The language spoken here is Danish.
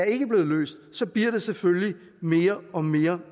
ikke er blevet løst så bliver det selvfølgelig mere og mere